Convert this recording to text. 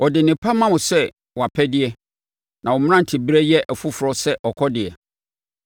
ɔde nnepa ma wo sɛ wʼapɛdeɛ na wo mmeranteberɛ yɛ foforɔ sɛ ɔkɔdeɛ.